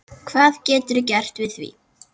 Hvað geturðu gert við því?